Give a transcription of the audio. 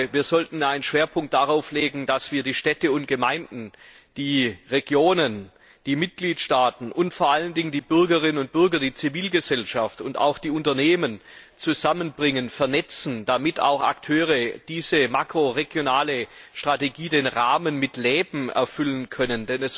Wir sollten den Schwerpunkt darauf legen, dass wir die Städte und Gemeinden, die Regionen, die Mitgliedstaaten und vor allen Dingen die Bürgerinnen und Bürger, die Zivilgesellschaft und auch die Unternehmen zusammenbringen und vernetzen, damit diese Akteure den Rahmen, also die makroregionale Strategie, mit Leben erfüllen können.